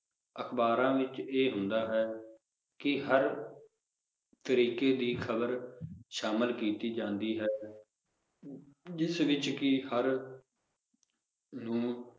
ਅਖਬਾਰਾਂ ਵਿਚ ਇਹ ਹੁੰਦਾ ਹੈ ਕਿ ਹਰ ਤਰੀਕੇ ਦੀ ਖਬਰ ਸ਼ਾਮਿਲ ਕੀਤੀ ਜਾਂਦੀ ਹੈ ਜਿਸ ਵਿਚ ਕਿ ਹਰ ਨੂੰ